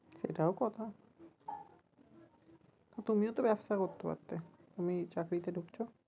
সেটাও কথা, তুমিও তো ব্যবসা করতে পারতে তুমি চাকরিতে ঢুকছো?